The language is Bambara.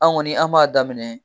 An' ŋɔni an' b'a daminɛ